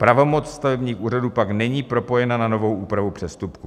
Pravomoc stavebních úřadů pak není propojena na novou úpravu přestupků.